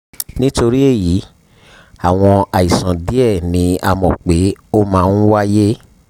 nítorí èyí àwọn àìsàn díẹ̀ ni a mọ̀ pé ó máa ń wáyé